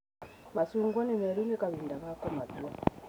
Macungwa nĩmeru, nĩkahinda ga kũmatua.